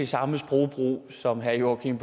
samme sprogbrug som herre joachim